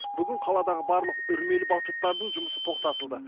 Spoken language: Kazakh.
бүгін қаладағы барлық үрмелі батуттардың жұмысы тоқтатылды